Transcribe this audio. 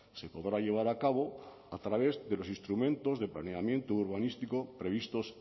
se podrá llevar a cabo a través de los instrumentos de planeamiento urbanístico previstos